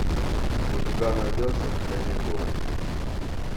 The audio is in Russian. у тебя найдется каникулы